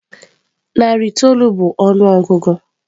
Narị itoolu bụ ọnụọgụgụ.